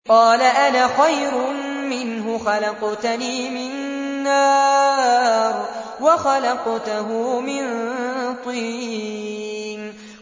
قَالَ أَنَا خَيْرٌ مِّنْهُ ۖ خَلَقْتَنِي مِن نَّارٍ وَخَلَقْتَهُ مِن طِينٍ